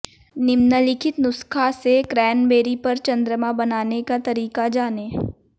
निम्नलिखित नुस्खा से क्रैनबेरी पर चंद्रमा बनाने का तरीका जानें